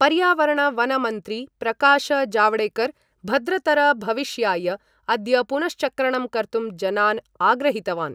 पर्यावरण वन मन्त्री प्रकाश जावडेकर भद्रतर भविष्याय अद्य पुनश्चक्रणं कर्तुं जनान् आग्रहीतवान्।